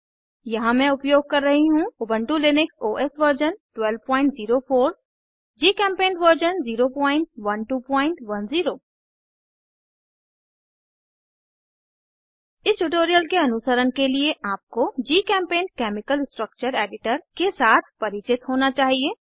यहाँ मैं उपयोग कर रही हूँ Ubuntu Linux OS version 1204 GChemPaint version 01210 इस ट्यूटोरियल के अनुसरण के लिए आपको जीचेम्पेंट केमिकल स्ट्रक्चर एडिटर के साथ परिचित होना चाहिए